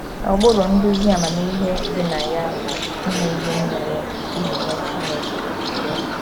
Ụkpụrụ nduzi amamihe dị na ya bụ ‘ ime ihe nile iji nye Chineke otuto. ’